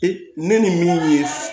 Ee ne ni min ye